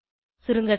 சுருங்கசொல்ல